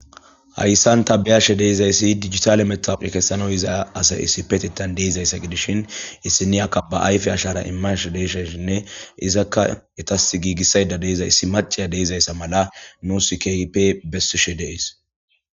Hayssan tabiyashe deezayssi digitale metawqe kessanoy iza asay issi petetan deizayssa gidishin issiniyakka ba ayfe ashara immashe deeshaysshinne izakka etas giigissayda deizay issi maciya deizayssa mala nu sikeipe bessishe deis.